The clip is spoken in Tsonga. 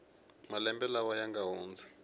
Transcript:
malembe lawa ya nga hundza